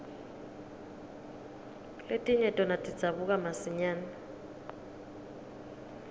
letinye tona tidzabuka masinyane